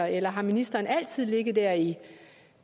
eller har ministeren altid ligget der i